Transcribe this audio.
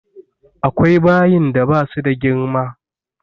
Akwai bayin da ba su da girma.